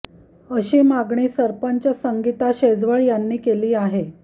अशी मागणी सरपंच संगिता शेजवळ यांनी केली आहे